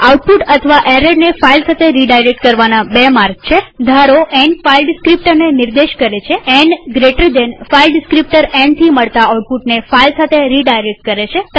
output અથવા એરરને file સાથે રીડાયરેક્ટ કરવાના બે માર્ગ છે ધારોn ફાઈલ ડીસ્ક્રીપ્ટરને નિર્દેશ કરે છેn જમણા ખૂણાવાળો કૌંસ ફાઈલ ડીસ્ક્રીપ્ટર nથી મળતા આઉટપુટને ફાઈલ સાથે રીડાયરેક્ટ કરે છે